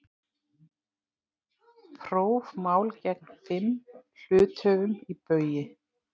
Prófmál gegn fimm hluthöfum í Baugi